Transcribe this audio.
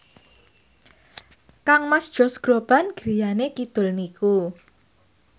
kangmas Josh Groban griyane kidul niku